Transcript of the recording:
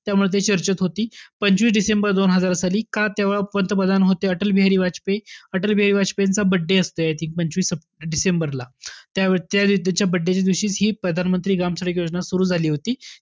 त्यामुळे ती चर्चेत होती. पंचवीस डिसेंबर दोन हजार साली का तेव्हा पंतप्रधान होते अटल बिहारी वाजपेयी. अटल बिहारी वाजपेयींचा birthday असतो I think पंचवीस डिसेंबरला. त्या~ त्याच्या birthday च्या दिवशी प्रधानमंत्री ग्राम सडक योजना सुरु झाली होती.